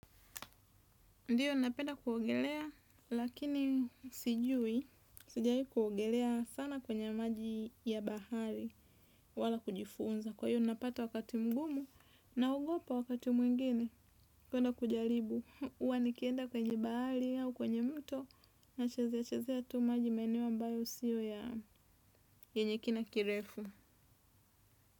Ndiyo napenda kuogelea lakini sijui, sijawahi kuogelea sana kwenye maji ya bahari wala kujifunza. Kwa hiyo napata wakati mgumu naogopa wakati mwingine kwenda kujaribu. Huwa nikienda kwenye bahari au kwenye mto nachezea chezea tu maji maeneo ambayo sio ya yenye kina kirefu.